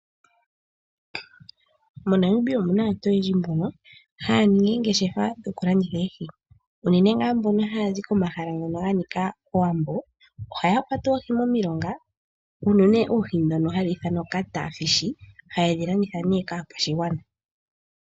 MoNamibia omuna aantu oyendji mbono haya ningi oongeshefa dhoku landitha oohi, unene ngaa mbono haya zi komahala ngono ga nika owambo, ohaya oohi momilonga, unene oohi ndhono hadhi ithanwa Catfish ha yedhi landitha nee kaakwashigwana.